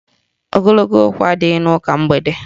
Ogologo okwu adịghị n'ụka mgbede